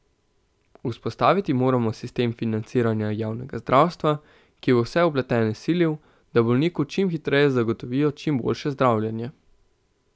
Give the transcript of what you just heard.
Vzpostaviti moramo sistem financiranja javnega zdravstva, ki bo vse vpletene silil, da bolniku čim hitreje zagotovijo čim boljše zdravljenje.